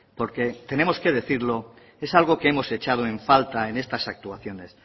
porque tenemos que decirlo es algo que hemos echado en falta en estas actuaciones